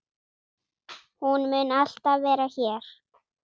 Hún mun alltaf vera hér.